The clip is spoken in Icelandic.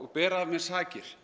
bera af mér sakir